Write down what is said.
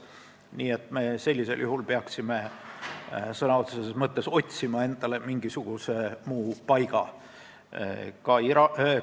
Me peaksime sellisel juhul endale sõna otseses mõttes mingisuguse muu paiga otsima.